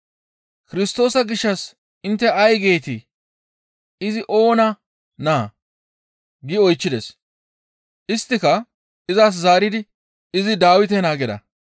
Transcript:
«Kirstoosa gishshas intte ay geetii? Izi oona naa?» gi oychchides; isttika izas zaaridi, «Izi Dawite naa» gida.